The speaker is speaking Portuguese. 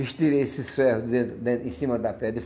Estirei esses ferros de dentro den em cima da pedra.